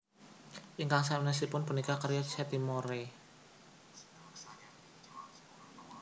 Ingkang sanèsipun punika karya C T Moore